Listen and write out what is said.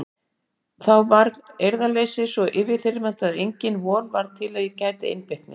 Þá varð eirðarleysið svo yfirþyrmandi að engin von var til að ég gæti einbeitt mér.